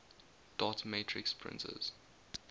dot matrix printers